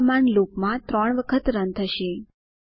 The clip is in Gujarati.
આ કમાન્ડ લૂપ માં 3 વખત રન થશે